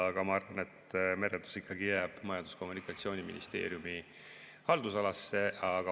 Aga ma arvan, et merendus jääb ikkagi Majandus‑ ja Kommunikatsiooniministeeriumi haldusalasse.